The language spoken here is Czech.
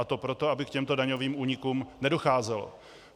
A to proto, aby k těmto daňovým únikům nedocházelo.